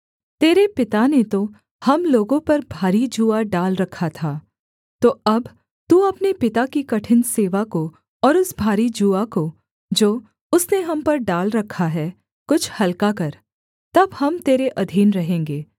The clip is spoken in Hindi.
तेरे पिता ने तो हम लोगों पर भारी जूआ डाल रखा था तो अब तू अपने पिता की कठिन सेवा को और उस भारी जूआ को जो उसने हम पर डाल रखा है कुछ हलका कर तब हम तेरे अधीन रहेंगे